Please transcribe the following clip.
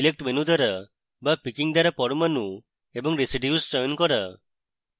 select menu দ্বারা বা picking দ্বারা পরমাণু এবং residues চয়ন করা